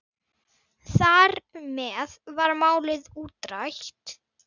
Þar með var málið útrætt.